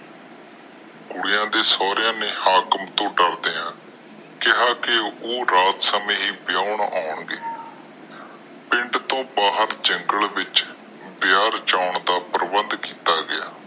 ਕੁੜੀਆਂ ਦੇ ਸੋਹਰਿਆ ਨੇ ਹਾਕਮ ਤੋਂ ਡਰਦਾ ਕਿਹਾ ਕੇ ਉਹ ਰਾਤ ਹਨੇਰੇ ਵਿਆਹੁਣ ਆਂ ਗਏ ਪਿੰਡ ਤਰੋ ਭਰ ਜੰਗਲੇ ਦੇ ਵਿਚ ਵਿਆਹ ਰਚਣ ਦਾ ਪ੍ਰਬੰਧ ਕੀਤਾ ਗਿਆ